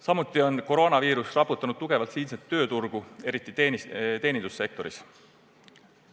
Samuti on koroonaviirus raputanud tugevalt siinset tööturgu, eriti teenindussektoris.